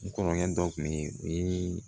N kɔrɔkɛ dɔ kun be yen o ye